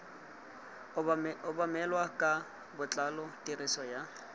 obamelwa ka botlalo tiriso ya